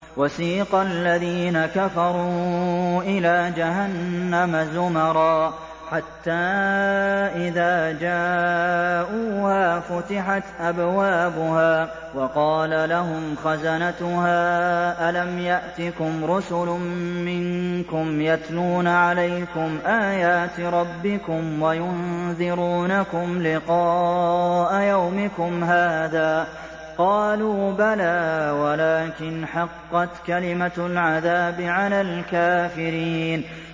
وَسِيقَ الَّذِينَ كَفَرُوا إِلَىٰ جَهَنَّمَ زُمَرًا ۖ حَتَّىٰ إِذَا جَاءُوهَا فُتِحَتْ أَبْوَابُهَا وَقَالَ لَهُمْ خَزَنَتُهَا أَلَمْ يَأْتِكُمْ رُسُلٌ مِّنكُمْ يَتْلُونَ عَلَيْكُمْ آيَاتِ رَبِّكُمْ وَيُنذِرُونَكُمْ لِقَاءَ يَوْمِكُمْ هَٰذَا ۚ قَالُوا بَلَىٰ وَلَٰكِنْ حَقَّتْ كَلِمَةُ الْعَذَابِ عَلَى الْكَافِرِينَ